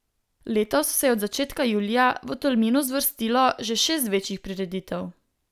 Letos se je od začetka julija v Tolminu zvrstilo že šest večjih prireditev.